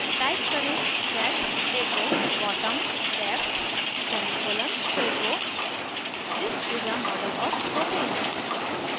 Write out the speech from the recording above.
type करें set echo bottom left semicolon echo this is a model of propane